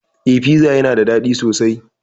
Eh piza yana dadi sosai